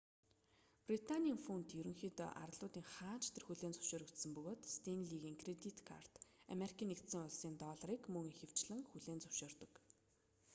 британийн фунт ерөнхийдөө арлуудын хаана ч тэр хүлээн зөвшөөрөгдсөн бөгөөд стэнлигийн кредит карт америкийн нэгдсэн улсын долларыг мөн ихэвчлэн хүлээн зөвшөөрдөг